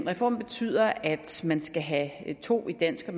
reformen betyder at man skal have to i dansk og